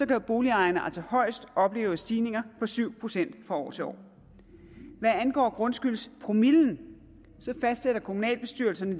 kan boligejerne altså højst opleve stigninger på syv procent fra år til år hvad angår grundskyldspromillen fastsætter kommunalbestyrelsen